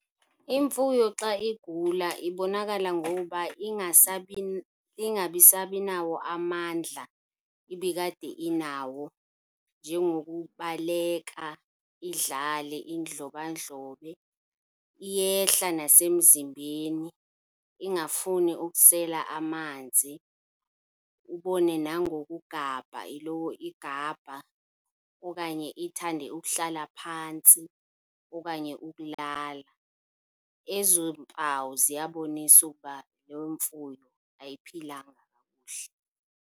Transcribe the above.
Imfuyo xa igula ibonakala ngoba ingabisabinawo amandla ibikade inawo, njengokubaleka, idlale, indlobandlobe. Iyehla nasemzimbeni, ingafuni ukusela amanzi, ubone nangokugabha, iloko igabha okanye ithande ukuhlala phantsi okanye ukulala. Ezo mpawu ziyabonisa ukuba loo mfuyo ayiphilanga kakuhle.